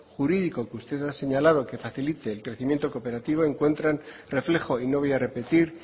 jurídico que usted ha señalado que facilite el crecimiento cooperativo encuentran reflejo y no voy a repetir